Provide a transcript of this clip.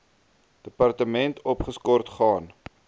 departement opgeskort gaan